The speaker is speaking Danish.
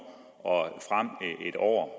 og en år